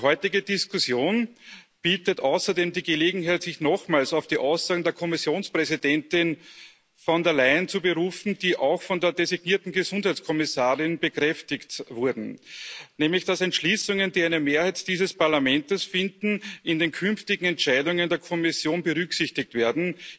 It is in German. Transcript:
Die heutige Diskussion bietet außerdem die Gelegenheit, sich nochmals auf die Aussagen der Kommissionspräsidentin Von der Leyen zu berufen, die auch von der designierten Gesundheitskommissarin bekräftigt wurden, nämlich dass Entschließungen, die eine Mehrheit dieses Parlaments finden, in den künftigen Entscheidungen der Kommission berücksichtigt werden.